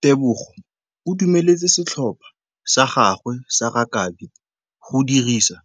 Tebogô o dumeletse setlhopha sa gagwe sa rakabi go dirisa